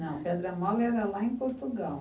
Não, Pedra Mola era lá em Portugal.